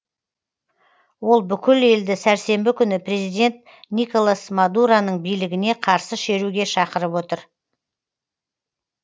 ол бүкіл елді сәрсенбі күні президент николас мадуроның билігіне қарсы шеруге шақырып отыр